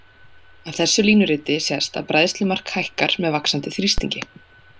Af þessu línuriti sést að bræðslumark hækkar með vaxandi þrýstingi.